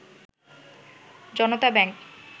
Janata bank